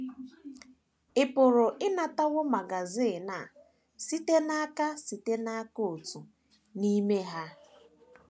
Ị pụrụ ịnatawo magazin a site n’aka site n’aka otu n’ime ha.